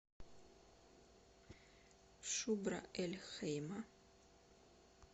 шубра эль хейма